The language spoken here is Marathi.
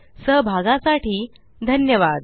सहभागासाठी धन्यवाद